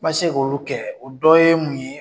N ma se k' olu kɛ o dɔ ye mun ye.